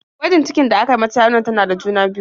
Gwajin cikin da aka yi mata ya nuna tana da juna-biyu.